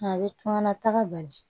A bɛ kunkanta bali